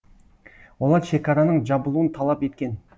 олар шекараның жабылуын талап еткен